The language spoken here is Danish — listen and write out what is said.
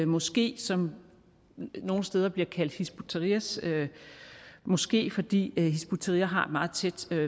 moské som nogle steder bliver kaldt hizb ut tahrirs moské fordi hizb ut tahrir har et meget tæt